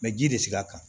Mɛ ji de sigira a kan